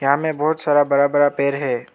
यहां में बहुत सारा बड़ा बड़ा पेड़ है।